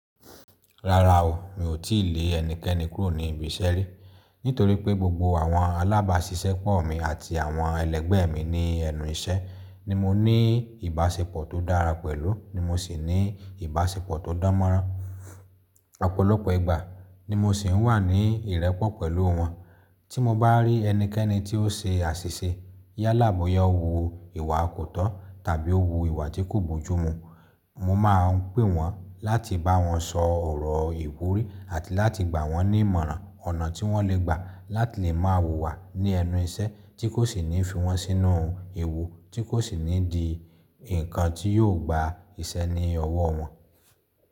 Rárá o, mi ò tí lè ẹnikẹ́ni kúrò ní ibi iṣẹ́ rí. Nítorí pé gbogbo àwọn alábàáṣiṣẹ́pọ̀ mi àti àwọn ẹlẹgbẹ́ mi ní ẹnu iṣẹ́ ni mo ní ìbáṣepọ̀ tó dára pẹ̀lú, ni mo sì ní ìbáṣepọ̀ tó dánmọ́rán. Ọ̀pọ̀lọpọ̀ ìgbà ni mo sì ń wà ní ìrẹ́pọ̀ pẹ̀lú wọn. Tí mo bá rí ẹnikẹ́ni tí ó ṣe àṣìṣe yálà boya wu iwà kò tọ́ tàbí o wu ìwà tí kò bójúmu, mo máa ń pè wọ́n láti bá wọn sọ ọ̀rọ̀ ìwúrí àti láti gbà wọ́n ní ìmọ̀ràn ọ̀nà tí wọ́n lè gbà láti lè máa wùwà ní ẹnu iṣẹ́ tí kò sì ní fi wọ́n sínú ewu tí kò sì ní di nǹkan tí yóò gba ìṣẹ́ ní ọwọ́ wọn.